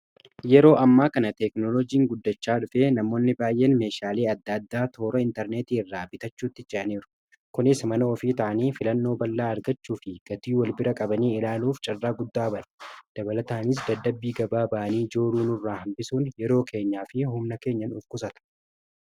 Yeroo ammaa kana teekinooloojiin guddachaa dhufe namoonni baay'een meeshaalee adda addaa toora intarneetii irraa bitachuutti ce'aniiru. Kunis mana ofii ta'anii filannoo bal'aa argachuu fi gatii wal bira qabanii ilaaluuf carraa guddaa bane. Dabalataaniis dadhabbii gabaa ba'anii jooruu nurraa hambisuun yeroo keenyaa fi humna keenya nuuf qusata.